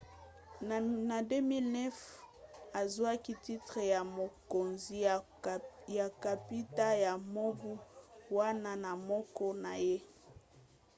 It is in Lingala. na 2009 azwaki titre ya mokonzi ya kapita ya mobu wana na mboka na ye